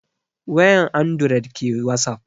Wayan andured ke wasap